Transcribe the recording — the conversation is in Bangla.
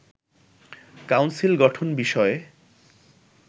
কাউন্সিল গঠন বিষয়ে